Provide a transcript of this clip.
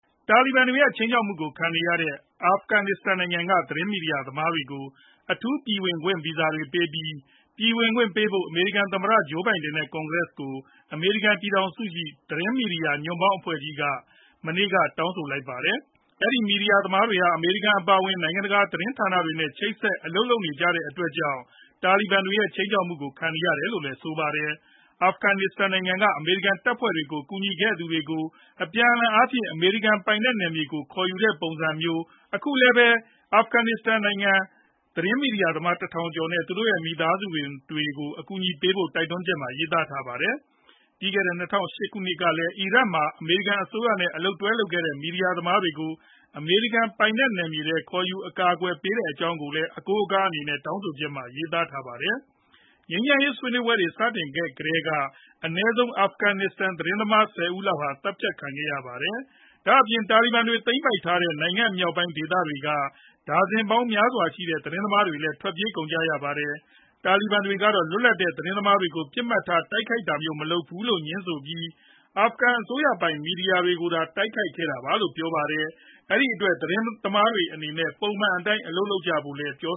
တာလီဘန်တွေရဲ့ ခြိမ်းခြောက်မှုကိုခံနေရတဲ့ အာဖဂန်နစ္စတန်နိုင်ငံက သတင်း မီဒီယာသမားတွေကို အထူးဗီဇာတွေပေးပြီး ပြည်ဝင်ခွင့်ပြုဖို့ အမေရိကန် သမ္မတ ဂျိုးဘိုင်ဒန် နဲ့ ကွန်ကရက်ကို အမေရိကန် ပြည်ထောင်စု ရှိ သတင်း မီဒီယာညွန့်ပေါင်းအဖွဲ့ကြီး တခုက မနေ့က တောင်းဆိုလိုက်ပါတယ်။ အဲဒီ မီဒီယာသမားတွေဟာ အမေရိကန် အပါအဝင် နိုင်ငံတကာသတင်းဌာနတွေနဲ့ ချိတ်ဆက် အလုပ်လုပ်နေကြတဲ့အတွက်ကြောင့် တာလီဘန်တွေရဲ့ ခြိမ်းခြောက်မှုကိုခံနေကြရတယ်လို့ဆိုပါတယ်။ အာဖဂန်နစ္စတန်နိုင်ငံက အမေရိကန်တပ်ဖွဲ့တွေကို ကူညီခဲ့သူတွေကို အပြန်အလှန်အားဖြင့် အမေရိကန်ပိုင်နယ်မြေတွေကို ခေါ်ယူခဲ့တဲ့ပုံစံမျိုး အခုလည်းပဲ အာဖဂန်မီဒီယာသမား ၁ ထောင်ဝန်ကျင်နဲ့ သူတို့ရဲ့မီသားစုတွေကို အကူအညီပေးဖို့ တိုက်တွန်းချက်ထဲမှာ ရေးထားပါတယ်။ ပြီးခဲ့တဲ့ ၂ဝဝ၈ ခုနှစ်ကလည်း အီရတ်မှာ အမေရိကန်အစိုးရနဲ့ အလုပ်တွဲလုပ်ခဲ့ကြတဲ့ မီဒီယာသမားတွေကို အမေရိကန်ပိုင်နယ်မြေထဲ ခေါ်ယူအကာအကွယ်ပေးခဲ့တဲ့အကြောင်းလည်း အကိုးအကားအနေနဲ့ တောင်းဆိုချက်မှာ ရေးထားပါတယ်။ ငြိမ်းချမ်းရေးဆွေးနွေးပွဲတွေ စတင်ခဲ့ကတည်းက အနည်းဆုံး အာဖဂန်သတင်းသမား ၁ဝ ဦးလောက်ဟာ သတ်ဖြတ်ခံခဲ့ရပါတယ်။ ဒါအပြင် တာလီဘန်တွေ သိမ်းပိုက်ခဲ့တဲ့ နိုင်ငံမြောက်ပိုင်းဒေသတွေက ဒါဇင်ပေါင်းများစွာရှိကြတဲ့ သတင်းသမားတွေလည်း ထွက်ပြေးကုန်ကြရပါတယ်။ တာလီဘန်တွေကတော့ လွတ်လပ်တဲ့ သတင်းသမားတွေကို ပစ်မှတ်ထားတိုက်ခိုက်တာမျိုးမလုပ်ဘူး လို့ ငြင်းဆိုပြီး အာဖဂန်အစိုးရပိုင် မီဒီယာတွေကိုသာ တိုက်ခိုက်ခဲ့တာလို့ ပြောပါတယ်။ အဲဒီအတွက် သတင်းသမားတွေအနေနဲ့ ပုံမှန်အတိုင်း အလုပ်လုပ်ကြဖို့ပြော